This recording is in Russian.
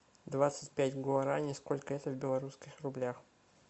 двадцать пять гуарани сколько это в белорусских рублях